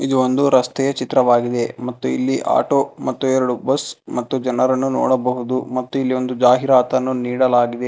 ಈ ಒಂದು ರಸ್ತೆಯ ಚಿತ್ರವಾಗಿದೆ ಮತ್ತು ಇಲ್ಲಿ ಆಟೋ ಮತ್ತು ಎರಡು ಬಸ್ ಮತ್ತು ಜನರನ್ನು ನೋಡಬಹುದು ಮತ್ತು ಇಲ್ಲಿ ಒಂದು ಜಾಹೀರಾತನ್ನು ನೀಡಲಾಗಿದೆ.